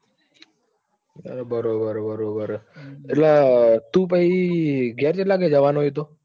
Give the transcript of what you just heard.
બરોબર બરોબર એટલે તું પછી ઘેર કેટલા વાગે જવાનો છે તો?